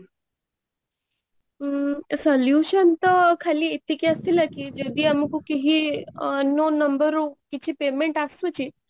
ହୁଁ solution ତ ଖାଲି ଏତିକି ଆସିଥିଲା କି ଯଦି ଆମକୁ କେହି unknown number ରୁ କିଛି payment ଆସୁଚି